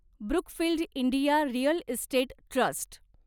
Brookfield India real estate trust